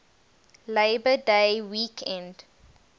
labor day weekend